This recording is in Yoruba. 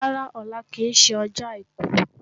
Rárá, ọlá kì í ṣe ọjọ́ àìkú